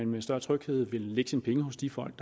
med større tryghed vil lægge sine penge hos de folk